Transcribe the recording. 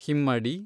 ಹಿಮ್ಮಡಿ